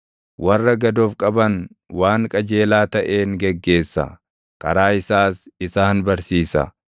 Warra gad of qaban waan qajeelaa taʼeen geggeessa; karaa isaas isaan barsiisa.